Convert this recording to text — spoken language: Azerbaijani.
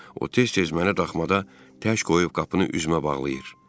O tez-tez məni daxmada tək qoyub qapını üzümə bağlayır.